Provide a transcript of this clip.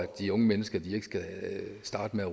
de unge mennesker starter med at